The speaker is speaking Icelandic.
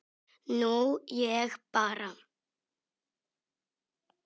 Nú ég bara.